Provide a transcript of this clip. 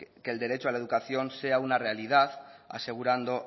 que el derecho a la educación sea una realidad asegurando